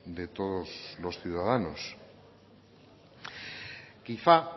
de todos los ciudadanos quizá